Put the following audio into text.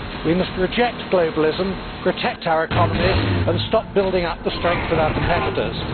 We must reject globalism, protect our economies and stop building up the strength of our competitors.